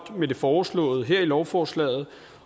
med det foreslåede her i lovforslaget